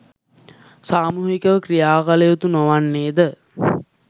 සාමූහිකය ක්‍රියාකළ යුතු නොවන්නේද?